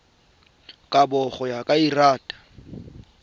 kabo go ya ka lrad